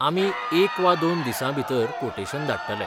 आमी एक वा दोन दिसां भितर कोटेशन धाडटले.